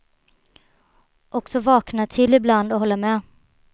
Och så vakna till ibland och hålla med.